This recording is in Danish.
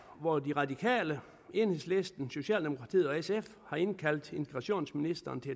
hvor de radikale enhedslisten socialdemokratiet og sf har indkaldt integrationsministeren til